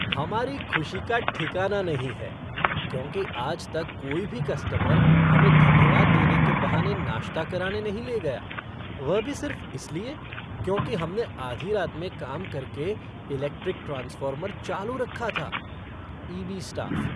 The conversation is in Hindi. हमारी खुशी का ठिकाना नहीं है, क्योंकि आज तक कोई भी कस्टमर हमें धन्यवाद देने के बहाने नाश्ता कराने नहीं ले गया, वह भी सिर्फ इसलिए, क्योंकि हमने आधी रात में काम करके इलेक्ट्रिक ट्रांसफ़ॉर्मर चालू रखा था। EB staff